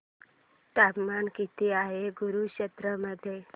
तापमान किती आहे कुरुक्षेत्र मध्ये